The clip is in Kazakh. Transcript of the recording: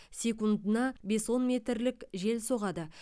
секунддына бес он метрлік жел соғады